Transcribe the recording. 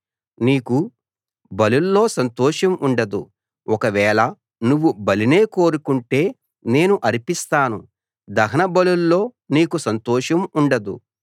నీకు బలుల్లో సంతోషం ఉండదు ఒకవేళ నువ్వు బలినే కోరుకుంటే నేను అర్పిస్తాను దహన బలుల్లో నీకు సంతోషం ఉండదు